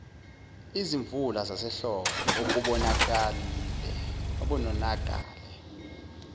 izimvula zasehlobo okubonakale